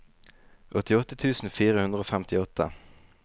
åttiåtte tusen fire hundre og femtiåtte